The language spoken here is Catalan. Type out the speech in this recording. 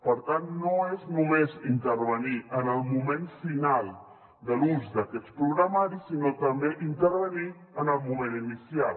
per tant no és només intervenir en el moment final de l’ús d’aquests programari sinó també intervenir en el moment inicial